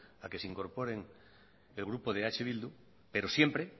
a que se incorpore en grupo de eh bildu pero siempre